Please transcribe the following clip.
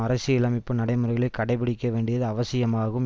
அரசியலமைப்பு நடைமுறைகளை கடைப்பிடிக்க வேண்டியது அவசியமாகும்